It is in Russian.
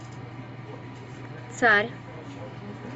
царь